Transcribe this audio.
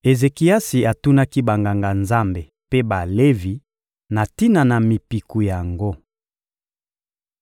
Ezekiasi atunaki Banganga-Nzambe mpe Balevi na tina na mipiku yango.